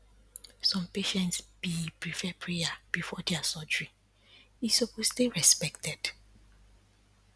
some patients bee prefer prayer before their surgery, e suppose dey respected.